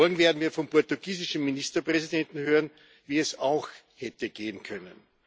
Vor allem werden wir vom portugiesischen Ministerpräsidenten hören, wie es auch hätte gehen können.